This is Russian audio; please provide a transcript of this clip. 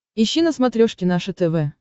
ищи на смотрешке наше тв